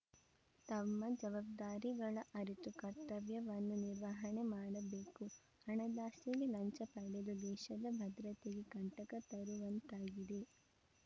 ತಮ್ಮ ಜವಾಬ್ದಾರಿಗಳ ಅರಿತು ಕರ್ತವ್ಯವನ್ನು ನಿರ್ವಹಣೆ ಮಾಡಬೇಕು ಹಣದಾಸೆಗೆ ಲಂಚ ಪಡೆದು ದೇಶದ ಭದ್ರತೆಗೆ ಕಂಟಕ ತರುವಂತಾಗಿದೆ